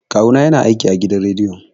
Kawu na ya na aiki a gidan rediyo